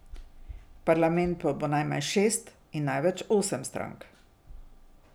V parlamentu bo najmanj šest in največ osem strank.